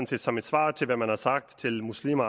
set som et svar til hvad man har sagt til muslimer